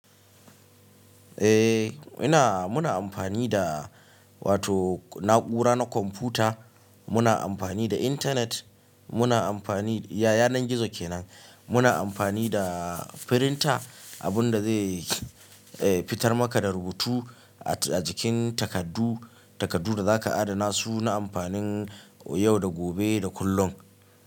Eh ina, muna amfani da, wato na'ura na kwamfuta, muna amfani da intanet, muna amfani ya, yan gizo kenan, muna amfani da printer, abunda zai fitar maka da rubutu, at a jikin takaddu, takaddu da zaka adana su, na amfanin yau da gobe da kullum.